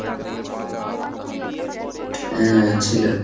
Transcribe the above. হ্যাঁ, ছিল।